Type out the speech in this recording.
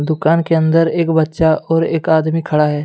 दुकान के अंदर एक बच्चा और एक आदमी खड़ा है।